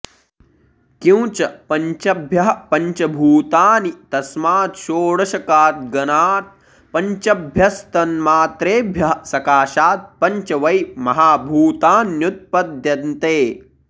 किंच पञ्चभ्यः पञ्च भूतानि तस्माच्छोडशकाद्गणात् पञ्चभ्यस्तन्मात्रेभ्यः सकाशात् पञ्च वै महाभूतान्युत्पद्यन्ते